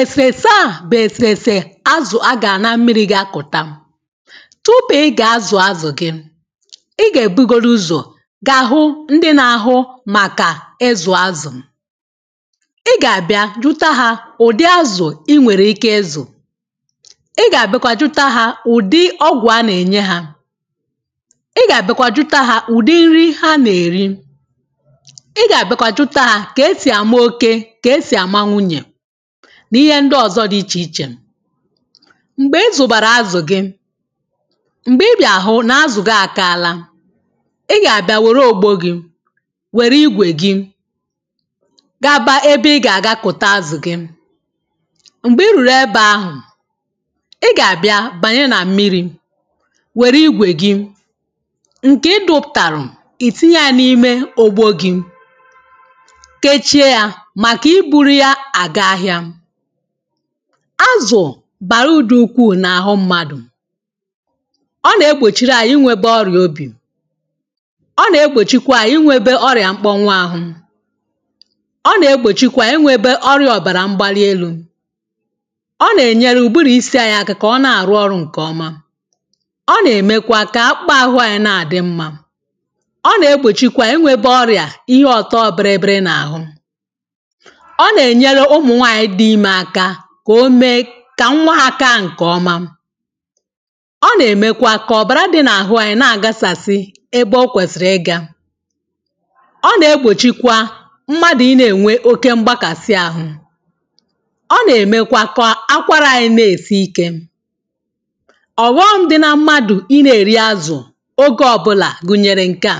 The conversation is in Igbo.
èfèfè a bụ̀ èsèsè azụ̀ agà na mmirī ga gụ̀ta m tupu ị gà àzụ azụ̀ gị ị gà èbugodu ụzọ̀ ga àhụ ndị na-ahụ màkà ịzụ̀ azụ̀ ị gà àbịa jụta hā ụ̀dị azụ̀ ị wèrè ike izù ị gà àbịakwa jụta hā ụ̀dị ọgwụ̀ ha nà-ènye hā ị gà àbịakwa jụta hā ụ̀dị nri ha nà-èri ị gà àbịakwa jụta hā ka esì àma okē ka esì àma nwunyè n’ihe ndị ọzọ di ichè ichè m̀gbe ezùbàrà azụ̀ gị m̀gbè ị bịà hụ n’azụ̀ gị àkala ị gà-àbịa wère ògbo gị̄ wère igwè gị gaba ebe ị gà-àga kụ̀ta azụ̀ gị m̀gbè ị rùrù egbe ahụ̀ ị gà-àbịa bànye nà mmirī wère igwè gị ǹke ịdụ̄pụ̀tàrụ̀ ìtinye yā n’ime ògbo gị̄ keche yā màkà i buru ya à ga-ahịā azụ̀ bàrà udī ukwu n’àhụ mmadụ̀ ọ na-egbòchiri anyị̄ inwē gbọrị̀ obì ọ na-egbòchikwa anyị̄ inwē be ọrịà mgbọwa ahụ̄ ọ na-egbòchikwa ewēbe ọrịà ọ̀bàrà mgbali elū ọ nà-ènyere ụ̀bụrụ̀ isi anyị̄ aka kà ọ na-àrụ ọrụ̄ ǹkè ọma ọ nà-èmekwa kà akpa ahụ anyị̄ nà-àdị mmā ọ na-egbòchikwa ewēbe ọrịà ihe ọ̀tọ biribiri nà-àhụ ọ nà-ènyelu ụmụ̀ nwaànyị̀ dị imē aka kà ome kà nwa hā ka ǹkè ọma ọ nà-èmekwa kà ọ̀bàra dị nà-àhụ anyị̄ nà àgasàsị ebe ọ kwèsìrì ị gā ọ na-egbòchikwa mmadụ ị nà-ènwe oke mgbakàsị ahụ̄ ọ nà-èmekwa kà akwarà anyị̄ nà-èsi ikē ọ̀ghọm dị na mmadụ̀ ị nà-èri azụ̀ ogè ọbụlà gụ̀nyèrè ǹka